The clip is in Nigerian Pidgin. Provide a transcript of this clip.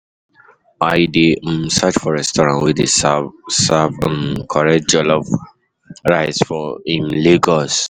I dey um search for restaurant wey dey serve serve um correct jollof rice for um Lagos.